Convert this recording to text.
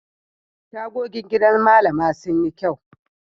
Tagogin gidan Mallama sun yi kyau.